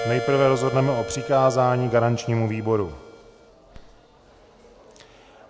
Nejprve rozhodneme o přikázání garančnímu výboru.